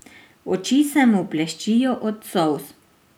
Oči se mu bleščijo od solz.